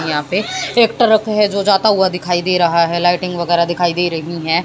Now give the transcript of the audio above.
यहां पे ट्रैक्टर रखे हैं जो जाता हुआ दिखाई दे रहा हैं लाइटिंग वगैरा दिखाई दे रही हैं।